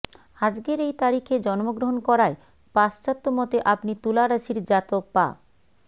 আজকের এই তারিখে জন্মগ্রহণ করায় পাশ্চাত্যমতে আপনি তুলা রাশির জাতক বা